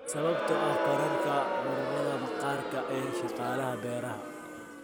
Sababta oo ah kororka cudurrada maqaarka ee shaqaalaha beeraha.